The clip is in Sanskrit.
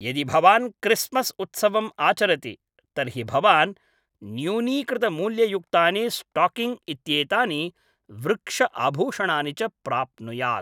यदि भवान् क्रिस्मस् उत्सवम् आचरति तर्हि भवान् न्यूनीकृतमूल्ययुक्तानि स्टाकिङ् इत्येतानि वृक्ष आभूषणानि च प्राप्नुयात्।